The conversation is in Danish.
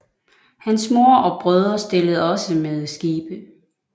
Hans mor og brødre stillede også med skibe